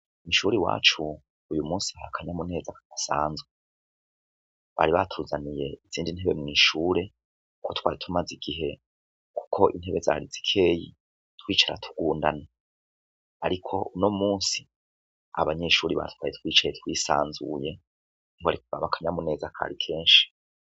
Mishuri wacu uyu musi hahhe akanyamuneza kasanzwe bari batuzaniye izindi ntebe mw'ishure uko twari tumaze igihe, kuko intebe zarizikeyi twicara tugundana, ariko uno musi abanyeshuri batwaye twicaye twisanzuye ninko arikbaba akanyamu neza kari kee asi.